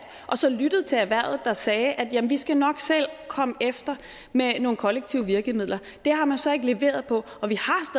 og så lyttet til erhvervet der sagde at jamen vi skal nok selv komme efter med nogle kollektive virkemidler det har man så ikke leveret på og vi